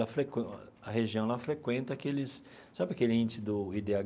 A região lá frequenta aqueles... Sabe aquele índice do i dê agá?